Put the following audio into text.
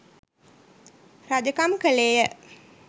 රජකම් කළේය.